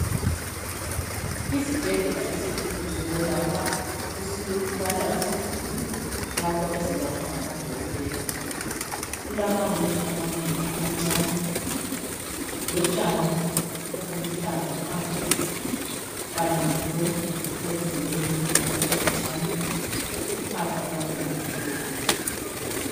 Isibhedlela esikhulu sokwelapha esilala iziguli lapho ezelatshwa ngamadokotela. Kulamawindi amanengi amancane lotshani obuluhlaza phandle, kanye lomduli owenziwe ngezitina ezincane uphahla lwakhona lumhlophe.